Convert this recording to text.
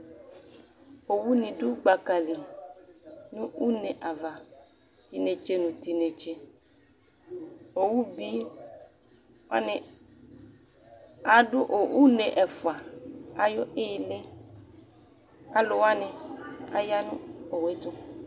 Owuni dʋ gbaka li nʋ une ava t'inetse nʋ t'inetse Owuni wani adʋ une ɛfua ayʋ ihili, alʋwani ya nʋ owu yɛ tʋ